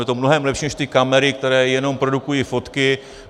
Je to mnohem lepší než ty kamery, které jenom produkují fotky.